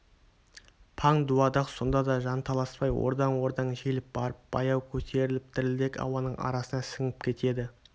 паң дуадақ сонда да жанталаспай ордаң-ордаң желіп барып баяу көтеріліп дірілдек ауаның арасына сіңіп кетеді